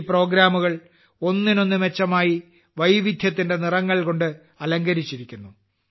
ഈ പരിപാടികൾ ഒന്നിനൊന്ന് മെച്ചമായി വൈവിധ്യത്തിന്റെ നിറങ്ങൾ കൊണ്ട് അലങ്കരിച്ചിരിക്കുന്നു